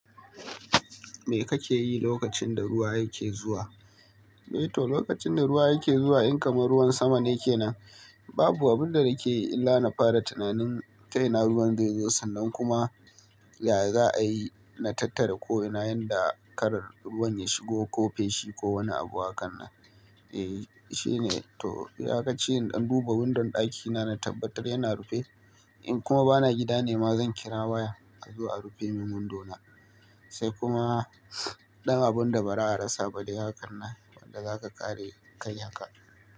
Me kake yi lokacin da ruwa yake zuwa? To, lokacin da ruwa yake zuwa in kamar ruwan saman yake nan, babu abin da nake yi illa na fara tunanin ta ina ruwan zai zo sannan kuma ya za a yi na tattara ko ina yanda karar ruwan ya shigo ko fenti ko wani abu a kan nan. Eh shine to iyakashi in dan duba windon ɗakina na tabbatar yana rufe. In kuma bana gida nema zan kira waya a zo a rufe min window na. Sai kuma ɗan abun da ba ra a rasa ba dai haka nan wanda zaka ƙare kai haka.